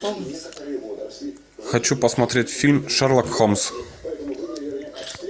хочу посмотреть фильм шерлок холмс